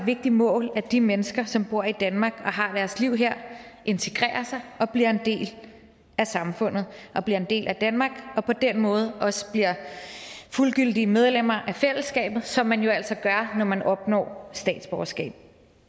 vigtigt mål at de mennesker som bor i danmark og har deres liv her integrerer sig og bliver en del af samfundet og bliver en del af danmark og på den måde også bliver fuldgyldige medlemmer af fællesskabet som man jo altså gør når man opnår statsborgerskab